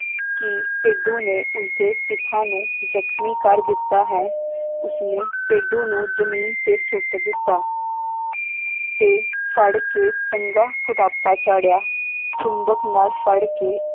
ਕਿ ਭੇਡੂ ਨੇ ਉਸਦੇ ਪਿਤਾ ਨੂੰ ਜਖਮੀ ਕਰ ਦਿੱਤਾ ਹੈ ਉਸਨੇ ਭੇਡੂ ਨੂੰ ਜਮੀਨ ਤੇ ਸੁੱਟ ਦਿੱਤਾ ਤੇ ਫੜ ਕੇ ਚੰਗਾ ਕੁੱਟਾਪਾ ਚਾੜ੍ਹਿਆ ਚੁੰਬਕ ਨਾਲ ਫੜ ਕੇ